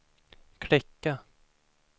klicka